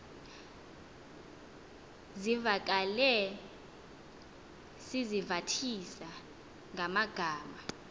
zivakale sizivathisa ngamagama